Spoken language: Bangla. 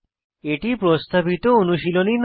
এটি প্রস্তাবিত অনুশীলনী নয়